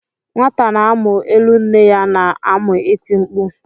Nwata na-amụ elu nne ya na-amu iti mkpu